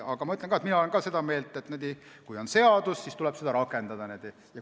Aga ma olen seda meelt, et kui on seadus, siis tuleb seda rakendada.